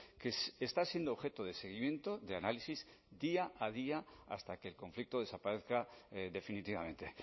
que está siendo objeto de seguimiento de análisis día a día hasta que el conflicto desaparezca definitivamente